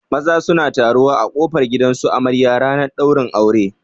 Maza suna taruwa a kofar gidan su amarya ranar ɗaurin aure